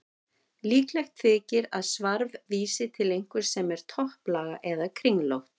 Líklegt þykir að svarf vísi til einhvers sem er topplaga eða kringlótt.